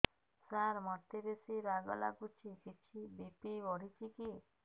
ସାର ମୋତେ ବେସି ରାଗ ଲାଗୁଚି କିଛି ବି.ପି ବଢ଼ିଚି କି